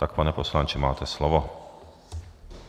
Tak, pane poslanče, máte slovo.